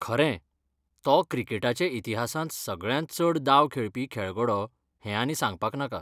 खरें. तो क्रिकेटाचे इतिहासांत सगळ्यांत चड दाव खेळपी खेळगडो हें आनी सांगपाक नाका.